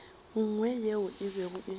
nngwe yeo e bego e